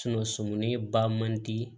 sɔmin ba man di